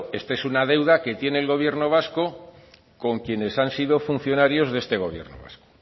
esto es una deuda que tiene el gobierno vasco con quienes han sido funcionarios de este gobierno vasco